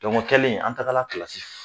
o kɛlen, an tagala kila